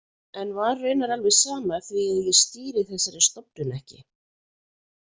En var raunar alveg sama því að ég stýri þessari stofnun ekki.